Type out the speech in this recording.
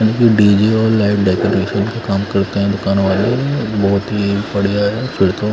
DJ और light decoration का काम करते हैं दुकान वाले बहुत ही बढ़िया है फिर तो--